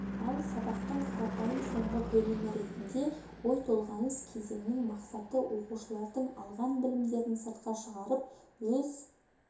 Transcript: ал сабақтың қарапайым соңғы бөлімі ретінде ой толғаныс кезеңінің мақсаты оқушылардың алған білімдерін сыртқа шығарып өз